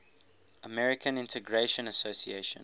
american integration association